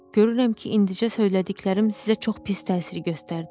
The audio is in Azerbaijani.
Görürəm ki, indicə söylədiklərim sizə çox pis təsir göstərdi.